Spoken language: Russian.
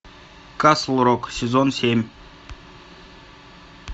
касл рок сезон семь